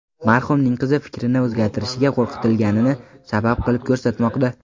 Marhumning qizi fikrini o‘zgartirishiga qo‘rqitilganini sabab qilib ko‘rsatmoqda.